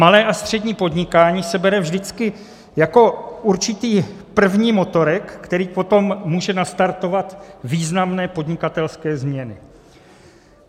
Malé a střední podnikání se bere vždycky jako určitý první motorek, který potom může nastartovat významné podnikatelské změny.